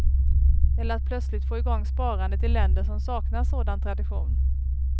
Eller att plötsligt få igång sparandet i länder som saknar sådan tradition.